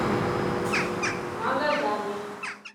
магадане